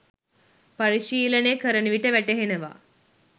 පරිශීලනය කරනවිට වැටහෙනවා